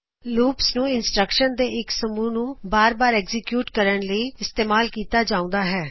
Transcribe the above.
loops ਨੂੰ instructions ਦੇ ਇੱਕ ਸਮੂਹ ਨੂੰ ਬਾਰ ਬਾਰ ਚਲਾਉਂਣ ਲਈ ਇਸਤੇਮਾਲ ਕੀਤਾ ਜਾਉਂਦਾ ਹੈ